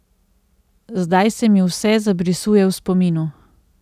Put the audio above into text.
Zdaj se mi vse zabrisuje v spominu.